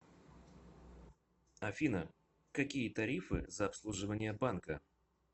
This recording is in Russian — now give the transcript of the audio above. афина какие тарифы за обслуживание банка